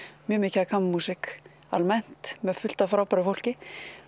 mjög mikið af kammermúsík almennt með fullt af frábæru fólki